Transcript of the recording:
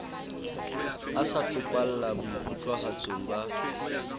a sa topalla boikutlwahatsong ba